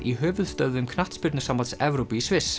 í höfuðstöðvum Knattspyrnusambands Evrópu í Sviss